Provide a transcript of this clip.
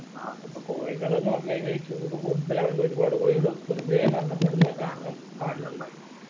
അത് okay ഇപ്പോ കോഴികള്ന്ന് പറഞ്ഞ് കഴിഞ്ഞാ ഈ ചൂട് കൂടുതലായോണ്ട് ഒരുപാട് കോഴികൾ വെറുതെ മരണപ്പെടുന്ന കാരണം കാണുന്നുണ്ടായി